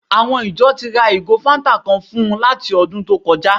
Àwọn ìjọ ti ra ìgò fáńtà kan fún un láti ọdún tó kọjá